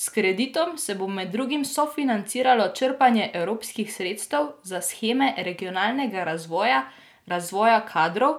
S kreditom se bo med drugim sofinanciralo črpanje evropskih sredstev za sheme regionalnega razvoja, razvoja kadrov,